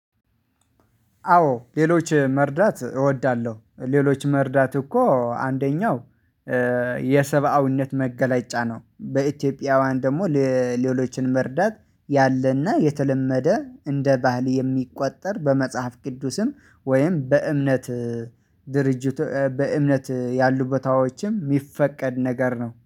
አዎ ሌሎች መርዳት እወዳለሁ። ሌሎች መርዳት እኮ አንደኛው መገለጫ ነው። በኢትዮጵያውያን ደግሞ ለሌሎችን መርዳት ያለና የተለመደ እንደ ባህል የሚቆጠር በመጽሐፍ ቅዱስም ወይም በእምነት ድርጅት በእምነት ያሉ ቦታዎች የሚፈቀድ ነገር ነው